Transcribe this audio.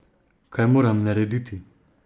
Kaj moram narediti?